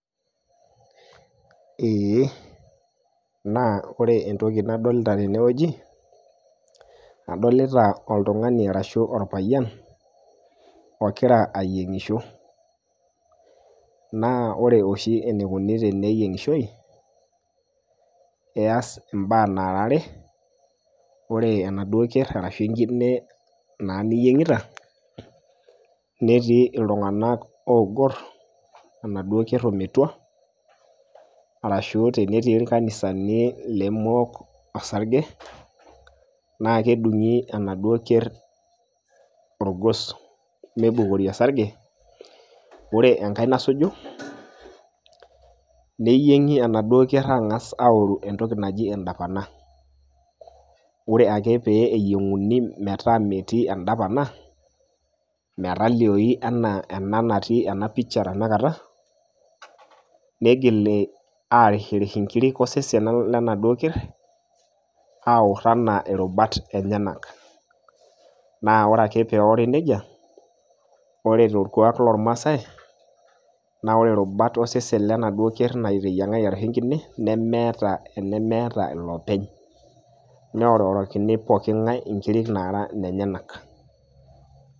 Ee. Naa ore entoki nadolita tenewueji, adolita oltung'ani arashu orpayian, ogira ayieng'isho. Na ore oshi enikuni teneyieng'ishoi, ees imbaa nara are. Ore enaduo ker arashu enkine naa niyieng'ita, netii iltung'anak ogor, enaduo ker ometua, arashu tenetii irkanisani lemook osarge, na kedung'i enaduo ker orgos meibukori osarge, ore enkae nasuju, neyieng'i enaduo ker ang'as aoru entoki naji edapana. Ore ake pee eyieng'uni metaa metii edapana, metalioyu enaa ena natii ena picha tanakata, nigili arishirish inkirik osesen lenaduo ker, aor enaa irubat enyenak. Na ore ake peori nejia, ore torkuak lormasai, na ore irubat osesen lenaduo ker nateyiang'aki arashu enkine, nemeeta enemeeta ilopeny. Neororokini pooking'ae inkiri nara nenyanak.